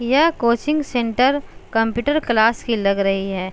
यह coaching centre computer class की लग रही है।